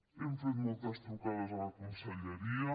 hem fet moltes trucades a la conselleria